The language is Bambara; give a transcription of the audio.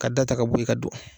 Ka da ta ka bo ye ka don